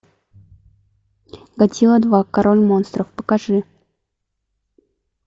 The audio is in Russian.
годзилла два король монстров покажи